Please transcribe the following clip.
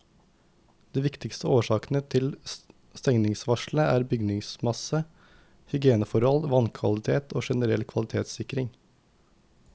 De viktigste årsakene til stengningsvarselet er bygningsmasse, hygieneforhold, vannkvalitet og generell kvalitetssikring.